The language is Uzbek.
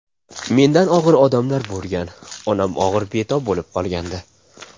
Menda og‘ir damlar bo‘lgan, onam og‘ir betob bo‘lib qolgandi.